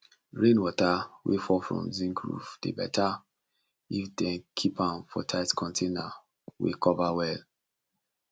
rain water wey fall from zinc roof dey better if dem keep am for tight container wey cover well